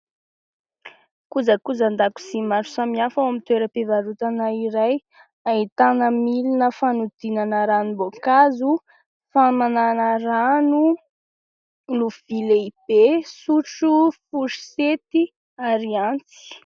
Kojakojan-dakozy maro samihafa ao amin'ny toeram-pivarotana iray, ahitana milina fanodinana ranom-boankazo, famanana rano, lovia lehibe, sotro, forosety ary antsy.